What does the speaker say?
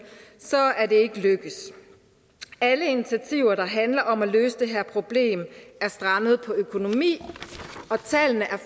ikke lykkedes alle initiativer der handler om at løse det her problem er strandet på økonomi og tallene er